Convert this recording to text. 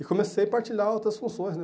E comecei a partilhar outras funções, né?